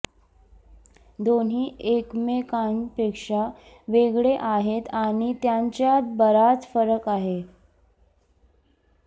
दोन्ही एकमेकांपेक्षा वेगळे आहेत आणि त्यांच्यात बराच फरक आहे